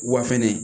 Wa fɛnɛ